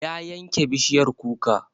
Ya yanke bishiyar kuka